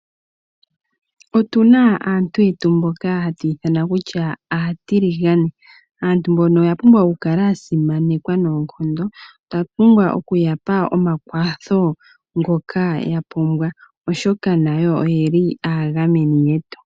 Otu na aantu yetu mboka hatu ithana kutya aayelele .Aantu mbono oya pumwa okukala ya simanekwa noonkondo . Otwa pumbwa okuyapa omakwatho ngoka ya pumbwa, oshoka nayo oye li aagameni yetu.